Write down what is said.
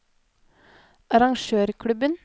arrangørklubben